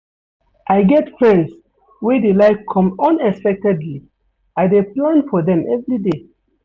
I get friends wey dey like come unexpectedly, I dey plan for dem everyday.